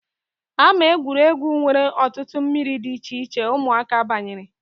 Ámá egwuregwu nwere ọtụtụ mmiri dị icheiche ụmụaka banyere